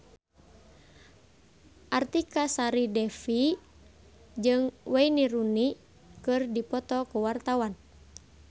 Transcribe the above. Artika Sari Devi jeung Wayne Rooney keur dipoto ku wartawan